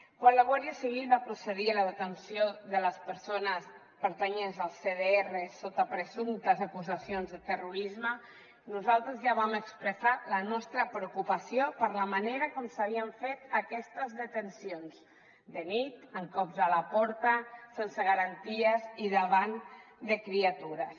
quan la guàrdia civil va procedir a la detenció de les persones pertanyents al cdrs sota presumptes acusacions de terrorisme nosaltres ja vam expressar la nostra preocupació per la manera com s’havien fet aquestes detencions de nit amb cops a la porta sense garanties i davant de criatures